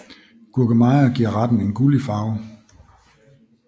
Gurkemeje giver retten en gullig farve